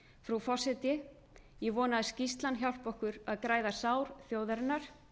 frú forseti ég vona að skýrslan hjálpi okkur að græða sár þjóðarinnar